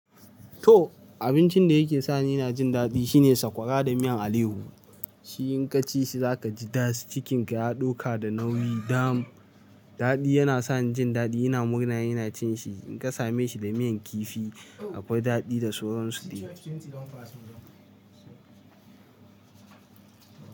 To abincin da yake sa ni ina jin daɗi shine sakwara da miyan alehu. Shi in ka ci shi za ka ji das, cikin ka ya ɗauka da nauyi dam. Daɗi, yana sa ni jin daɗi, ina murna in ina cin shi. In ka same shi da miyan kifi akwai daɗi da sauran su ɗe.